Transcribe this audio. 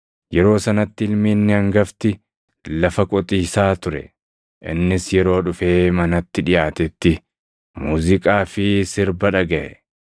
“Yeroo sanatti ilmi inni hangafti lafa qotiisaa ture; innis yeroo dhufee manatti dhiʼaatetti muuziiqaa fi sirba dhagaʼe.